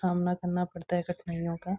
सामना करना पड़ता है कठिनाइयों का।